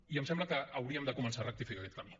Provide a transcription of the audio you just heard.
i em sembla que hauríem de començar a rectificar aquest camí